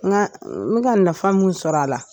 Nka n bɛ ka nafa min sɔrɔ a la